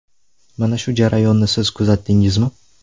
Mana shu jarayonni siz kuzatdingizmi?